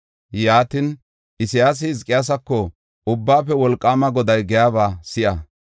Yaatin, Isayaasi Hizqiyaasako, “Ubbaafe Wolqaama Goday giyaba si7a.